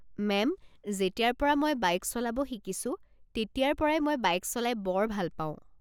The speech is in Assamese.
মেম, যেতিয়াৰ পৰা মই বাইক চলাব শিকিছো, তেতিয়াৰ পৰাই মই বাইক চলাই বৰ ভাল পাওঁ।